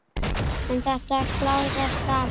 En þetta klárast allt.